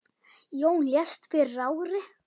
Jón lést fyrir ári.